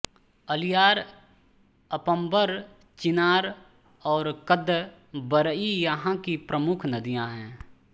अलियार अपंबर चिन्नार और कदंबरई यहाँ की प्रमुख नदियां है